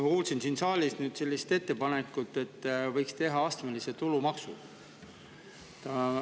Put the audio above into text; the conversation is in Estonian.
Ma kuulsin siin saalis nüüd sellist ettepanekut, et võiks teha astmelise tulumaksu.